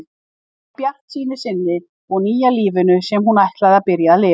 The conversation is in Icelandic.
Frá bjartsýni sinni og nýja lífinu sem hún ætli að byrja að lifa.